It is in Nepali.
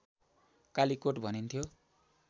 कालीकोट भनिन्थ्यो